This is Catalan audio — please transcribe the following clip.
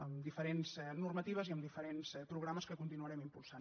amb diferents normatives i amb diferents programes que continuarem impulsant